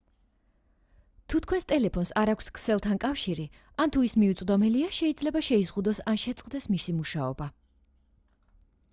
თუ თქვენს ტელეფონს არ აქვს ქსელთან კავშირი ან თუ ის მიუწვდომელია შეიძლება შეიზღუდოს ან შეწყდეს მისი მუშაობა